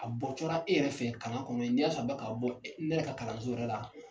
A bɔ cora e yɛrɛ fɛ kalan kɔnɔ ye n'a y'a sɔrɔ a bɛ ka bɔ ne yɛrɛ ka kalanso yɛrɛ la